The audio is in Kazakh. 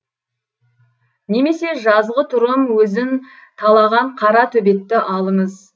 немесе жазғытұрым өзін талаған қара төбетті алыңыз